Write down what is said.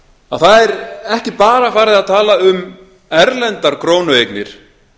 að það er ekki bara farið að tala um erlendar krónueignir